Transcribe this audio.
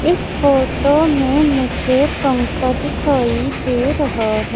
इस फोटो में मुझे पंखा दिखाई दे रहा हैं।